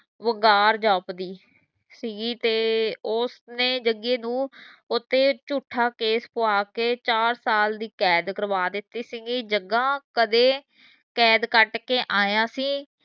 ਵਗਾਰ ਜਾਪਦੀ ਸੀਗੀ ਤੇ ਉਸਨੇ ਜਗੇ ਨੂੰ ਉਹ ਤੇ ਝੂਠਾਂ case ਪਵਾ ਕੇ ਚਾਰ ਸਾਲ ਦੀ ਕੈਦ ਕਰਵਾ ਦਿਤੀ ਸੀਗੀ ਜਗਾ ਕਦੇ ਕੈਦ ਕਟ ਕੇ ਆਇਆ ਸੀ